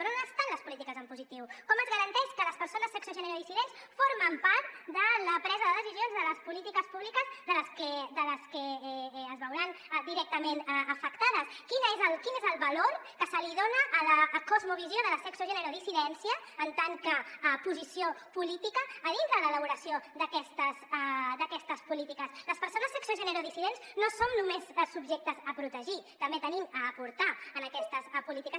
però on estan les polítiques en positiu com es garanteix que les persones sexe gènere dissidents formen part de la presa de decisions de les polítiques públiques de les que es veuran directament afectades quin és el valor que se li dona a la cosmovisió de la sexe gènere dissidència en tant que posició política dintre de l’elaboració d’aquestes polítiques les persones sexe gènere dissidents no som només subjectes a protegir també tenim a aportar en aquestes polítiques